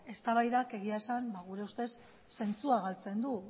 eztabaidak egia esan gure ustez zentzua galtzen du